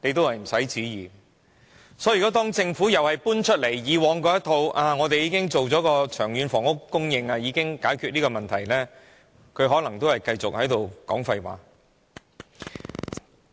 因此，如果政府仍然搬出以往那一套，說他們已經作出長遠房屋供應計劃，已經解決這個問題，他們可能仍是繼續說廢話。